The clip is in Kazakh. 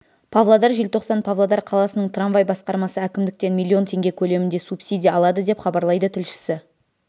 павлодар желтоқсан павлодар қаласының трамвай басқармасы әкімдіктен миллион теңге көлемінде субсидия алады деп хабарлайды тілшісі